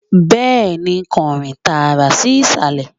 bẹẹni, kan rin taara sí isalẹ